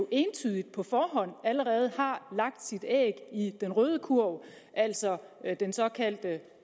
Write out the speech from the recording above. entydigt på forhånd allerede har lagt sit æg i den røde kurv altså den såkaldte